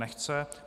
Nechce.